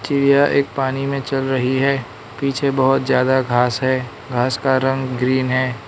यह एक पानी में चल रही है पीछे बहोत ज्यादा घास है घास का रंग ग्रीन है।